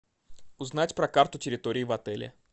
узнать про карту территории в отеле